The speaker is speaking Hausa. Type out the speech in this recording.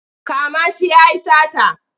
Kama shi ya yi sata!